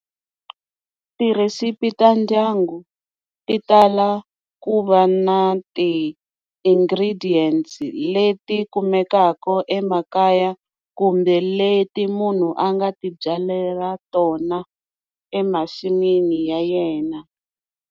Tirhisipi ta ndyangu ti tala ku va na ti-ingredients leti kumekaka emakaya kumbe leti munhu a nga ti byalela tona emasin'wini ya yena.